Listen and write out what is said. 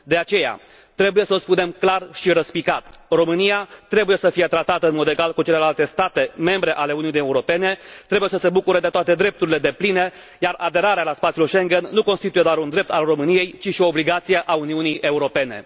De aceea, trebuie să o spunem clar și răspicat România trebuie să fie tratată în mod egal cu celelalte state membre ale Uniunii Europene, trebuie să se bucure de toate drepturile depline, iar aderarea la spațiul Schengen nu constituie doar un drept al României, ci și o obligație a Uniunii Europene!